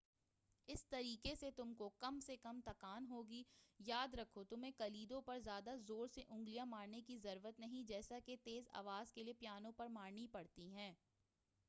اس طریقہ سے تم کو کم سے کم تکان ہوگی یاد رکھو تمہیں کلیدوں پر زیادہ زور سے انگلیاں مارنے کی ضرورت نہیں جیسا کہ تیز آواز کے لئے پیانو پر مارنی پڑتی ہیں